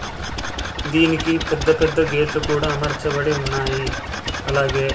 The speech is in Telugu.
దీనికి పెద్ద పెద్ద గేట్ లు కూడా అమర్చబడి ఉన్నాయి. అలాగే --